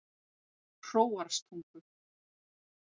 Hróarstungu